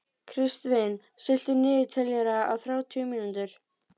Kristvin, stilltu niðurteljara á þrjátíu mínútur.